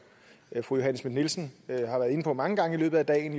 fru johanne schmidt nielsen har været inde på mange gange i løbet af dagen